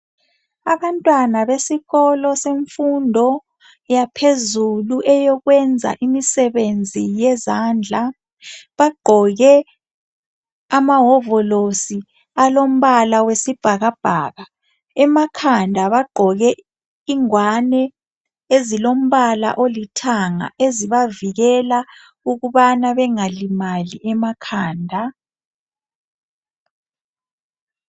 Abantwana besikolo semfundo yaphezulu eyokwenza imisebenzi yezandla bagqoke amawovolosi alombala wesibhakabhaka emakhanda bagqoke ingwane ezilombala olithanga ezibavikela ukubana bengalimali emakhanda